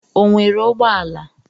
O nwere ụgbọ ala?